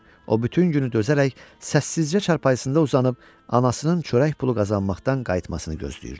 O bütün günü dözərək səssizcə çarpayısında uzanıb anasının çörək pulu qazanmaqdan qayıtmasını gözləyirdi.